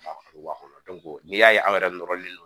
n'i y'a ye an yɛrɛ nɔrɔlen don